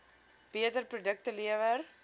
beter produkte lewer